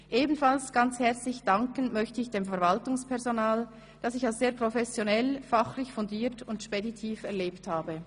Ebenfalls ganz herzlich danken möchte ich dem Verwaltungspersonal, das ich als sehr professionell, fachlich fundiert und speditiv erlebt habe.